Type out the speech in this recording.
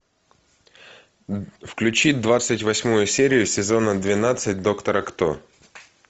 включи двадцать восьмую серию сезона двенадцать доктора кто